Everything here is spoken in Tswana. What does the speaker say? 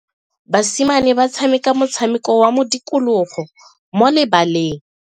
Basimane ba tshameka motshameko wa modikologo mo lebaleng.